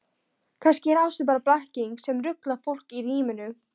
Kannski er ástin bara blekking sem ruglar fólk í ríminu.